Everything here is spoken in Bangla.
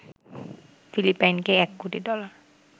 ফিলিপাইনকে ১ কোটি ডলার